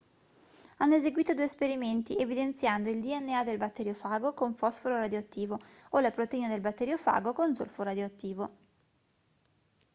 hanno eseguito due esperimenti evidenziando il dna del batteriofago con fosforo radioattivo o la proteina del batteriofago con zolfo radioattivo